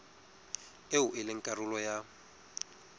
eo e leng karolo ya